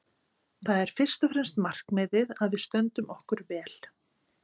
Það er fyrst og fremst markmiðið að við stöndum okkur vel.